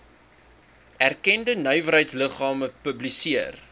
erkende nywerheidsliggame publiseer